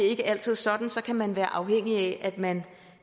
ikke altid sådan så kan man være afhængig af at man